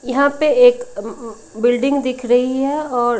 यहां पे एक अम्म बिल्डिंग दिख रही है और--